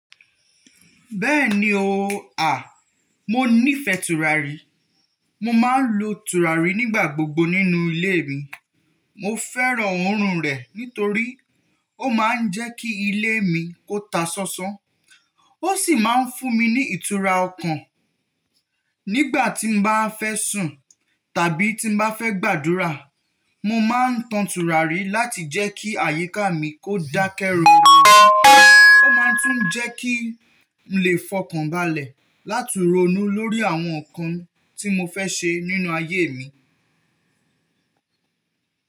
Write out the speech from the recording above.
Bẹ́ẹ̀ni ooo, à, mo nífẹ̀ tùràrí. Mo máa ń lo tùràrí nígbà gbogbo nínú ilé mi. Mo fẹ́ràn òórùn rẹ̀ nítorí ó máa ń jẹ́ kí ilé mi kó ta sánsán. Ó sì máa ń fún mi ní ìtura ọkàn. Nígbà tí mo bá fẹ́ sùn tàbí tí mo bá fẹ́ gbàdúrà, mo máa ń tan tùràrí láti jẹ́ kí àyíká mi kó dákẹ́ rọro. Ó máa tún ń jẹ́ kí n lè fọkànbalẹ̀ láti ronú lórí àwọn nǹkan tí mo fẹ́ ṣe nínú ayé mi.